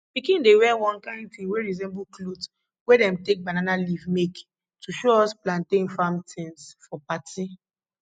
pickin dey wear one kind thing wey resemble cloth wey dem take banana leaf make to show us plantain farm tins for party